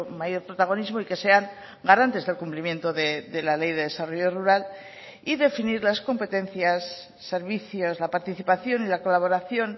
mayor protagonismo y que sean garantes del cumplimiento de la ley de desarrollo rural y definir las competencias servicios la participación y la colaboración